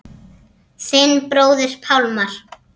Þinn bróðir Pálmar.